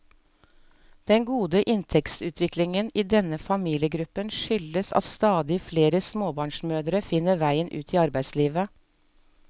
Den gode inntektsutviklingen i denne familiegruppen skyldes at stadig flere småbarnsmødre finner veien ut i arbeidslivet.